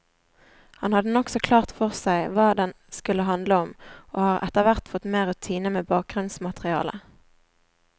Han hadde nokså klart for seg hva den skulle handle om, og har etterhvert fått mer rutine med bakgrunnsmaterialet.